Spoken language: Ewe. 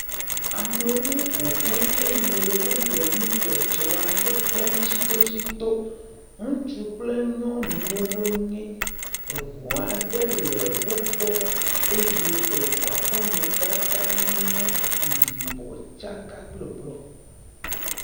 Amewo ƒo ƒu, eye wole nudzɔdzɔ aɖe kpɔm tsitotsito, ŋutsu kple nyɔnuwo wonye, eŋu aɖe le wo gbɔ, eye eŋua ƒe amadede nye yibɔ tsaka kple blɔ.